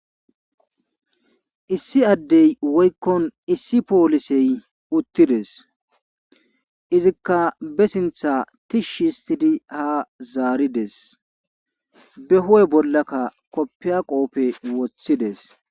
Issi addey woykkon issi poolisey uttides izikka be sintha tishshi histidi ha zaarides be ho'e bollakka koppiya qoope woththides.